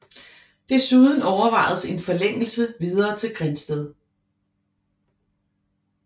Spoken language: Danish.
Desuden overvejedes en forlængelse videre til Grindsted